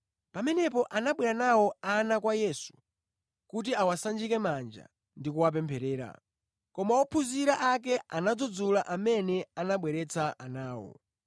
Pamenepo anabwera nawo ana kwa Yesu kuti awasanjike manja ndi kuwapempherera. Koma ophunzira ake anadzudzula amene anabweretsa anawo.